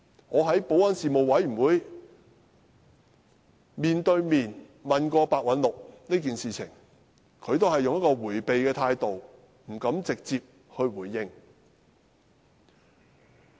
我在保安事務委員會上曾當面詢問白韞六這件事，他也只是採取迴避態度，不敢直接回應。